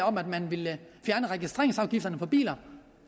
om at man ville fjerne registreringsafgiften for biler